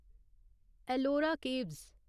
Ellora caves